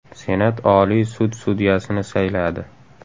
Senat Oliy sud sudyasini sayladi.